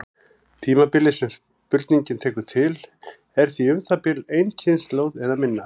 Tímabilið sem spurningin tekur til er því um það bil ein kynslóð eða minna.